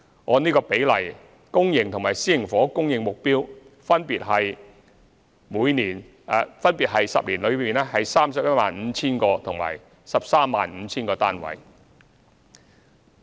按此比例，上述10年期的公營和私營房屋供應目標分別為 315,000 個及 135,000 個單位。